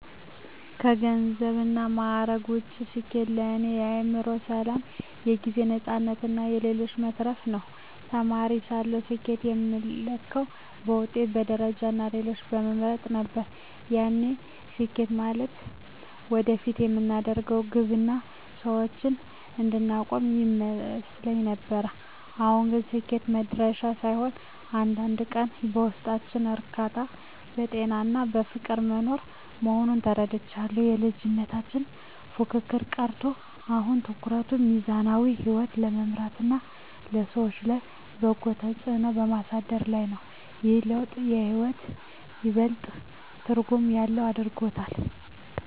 ከገንዘብና ማዕረግ ውጭ፣ ስኬት ለእኔ የአእምሮ ሰላም፣ የጊዜ ነፃነትና ለሌሎች መትረፍ ነው። ተማሪ ሳለሁ ስኬትን የምለካው በውጤት፣ በደረጃና ሌሎችን በመብለጥ ነበር፤ ያኔ ስኬት ማለት ወደፊት የምደርስበት ግብና የሰዎች አድናቆት ይመስለኝ ነበር። አሁን ግን ስኬት መድረሻ ሳይሆን፣ እያንዳንዱን ቀን በውስጣዊ እርካታ፣ በጤናና በፍቅር መኖር መሆኑን ተረድቻለሁ። የልጅነት ፉክክር ቀርቶ፣ አሁን ትኩረቴ ሚዛናዊ ሕይወት በመምራትና በሰዎች ላይ በጎ ተጽዕኖ በማሳደር ላይ ነው። ይህ ለውጥ ሕይወትን ይበልጥ ትርጉም ያለው አድርጎታል።